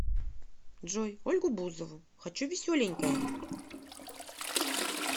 джой ольгу бузову хочу веселенькое